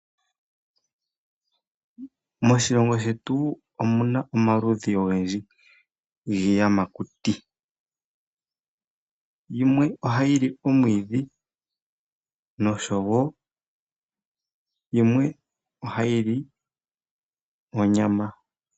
Moshilongo shetu omuna omaludhi ogendji giiyamakuti. Yimwe ohayi li omwiidhi, noshowo yimwe ohayi li onyama.